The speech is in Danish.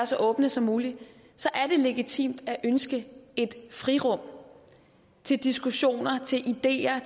så åbne som muligt er legitimt at ønske et frirum til diskussioner ideer